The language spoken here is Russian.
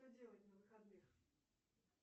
что делать на выходных